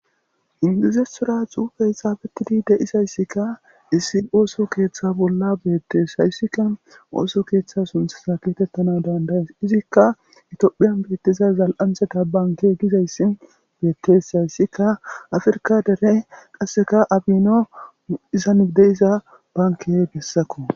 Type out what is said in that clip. indizesora xuufe esaabetidi deisayssikka issi ooso keeththa bolla beettes. hayssikka ooso keeththa sunthsa keetettana dandayes izikka itophiyan beettiza zal7antheta banke gizayssin beettesayssikka afrka dere qasseka abino izandeyiza bankey bessako.